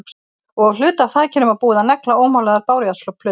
Og á hluta af þakinu var búið að negla ómálaðar bárujárnsplötur.